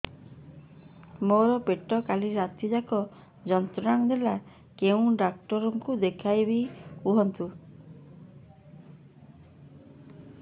ମୋର ପେଟ କାଲି ରାତି ଯାକ ଯନ୍ତ୍ରଣା ଦେଲା କେଉଁ ଡକ୍ଟର ଙ୍କୁ ଦେଖାଇବି କୁହନ୍ତ